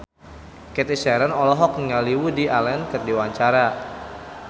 Cathy Sharon olohok ningali Woody Allen keur diwawancara